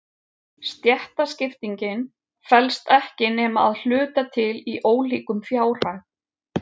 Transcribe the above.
Stéttaskiptingin felst ekki nema að hluta til í ólíkum fjárhag.